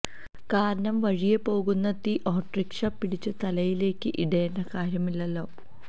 കാരണം വഴിയേ പോകുന്ന തീ ഓട്ടോറിക്ഷ പിടിച്ചു തലയിലേക്ക് ഇടേണ്ട കാര്യം ഇല്ലല്ലോ